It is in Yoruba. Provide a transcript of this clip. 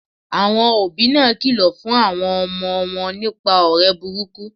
Àwon òbí náà kìlò fún àwon omo won nípa òré burúkú